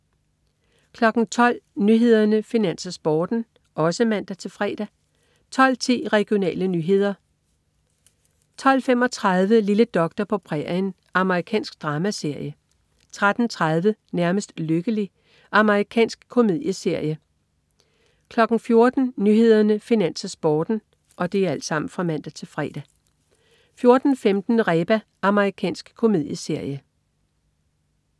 12.00 Nyhederne, Finans, Sporten (man-fre) 12.10 Regionale nyheder (man-fre) 12.35 Lille doktor på prærien. Amerikansk dramaserie (man-fre) 13.30 Nærmest lykkelig. Amerikansk komedieserie (man-fre) 14.00 Nyhederne, Finans, Sporten (man-fre) 14.15 Reba. Amerikansk komedieserie